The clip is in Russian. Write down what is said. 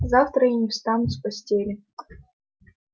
завтра я не встану с постели